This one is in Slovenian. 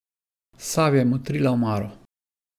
Savi je motrila omaro.